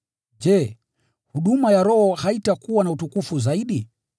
je, huduma ya Roho haitakuwa na utukufu zaidi?